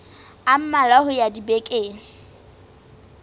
a mmalwa ho ya dibekeng